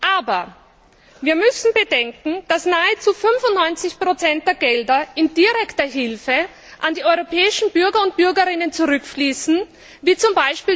Aber wir müssen bedenken, dass nahezu 95 der Gelder in Form direkter Hilfe an die europäischen Bürgerinnen und Bürger zurückfließen, wie z.